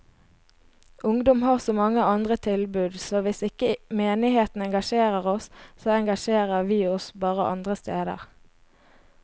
Ungdom har så mange andre tilbud, så hvis ikke menigheten engasjerer oss, så engasjerer vi oss bare andre steder.